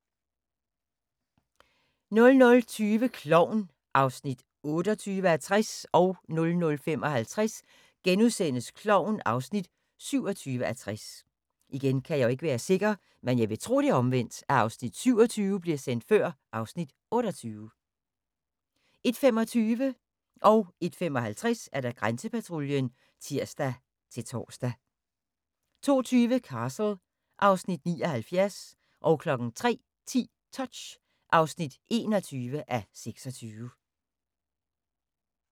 00:20: Klovn (28:60) 00:55: Klovn (27:60)* 01:25: Grænsepatruljen (tir-tor) 01:55: Grænsepatruljen (tir-tor) 02:20: Castle (Afs. 79) 03:10: Touch (21:26)